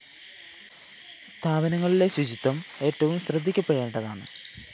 സ്ഥാപനങ്ങളിലെ ശുചിത്വം ഏറ്റവും ശ്രദ്ധിക്കപ്പെടേണ്ടതാണ്